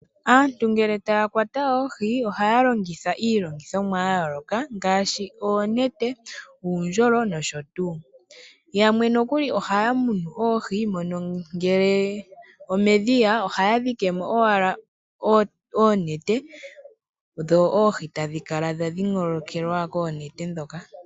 Aantu ngele ta ya kwata oohi, ohaya longitha iilongithomwa ya yooloka ngaashi: oonete, uundjolo nsht. Yamwe nokuli ohaya munu oohi momadhiya, moka haya dhike oonete, dhi kale dha dhingoloka oohi.